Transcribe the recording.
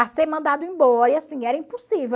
a ser mandado embora, e assim, era impossível.